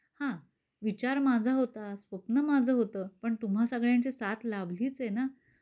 हा, विचार माझा होता स्वप्न माझं होतं पण तुम्हा सगळ्यांचे साथ लाभलीच आहे ना.